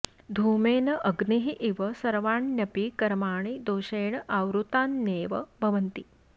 धूमेन अग्निः इव सर्वाण्यपि कर्माणि दोषेण आवृतान्येव भवन्ति